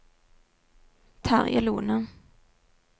Terje Lohne